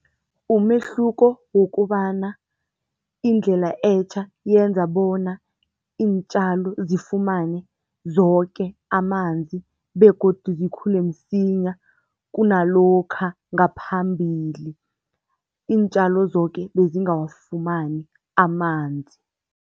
Umehluko wokobana indlela etjha yenza bona iintjalo zifumane woke amanzi begodu zikhule msinya kunalokha ngaphambili, iintjalo zoke bezingawafumani amanzi.